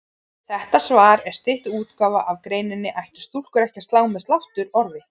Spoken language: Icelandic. Þetta svar er stytt útgáfa af greininni Ættu stúlkur ekki að slá með sláttuorfi?